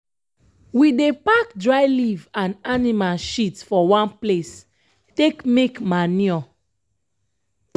we dey pack dry leaf and anima shit for one place take make manure.